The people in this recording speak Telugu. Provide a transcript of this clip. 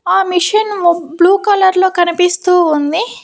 ఆ మిషన్ బ్లూ కలర్ లో కనిపిస్తూ ఉంది.